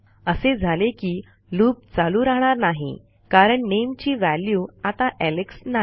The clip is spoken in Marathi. असे झाले की लूप चालू राहणार नाही कारण नामे ची व्हॅल्यू आता एलेक्स नाही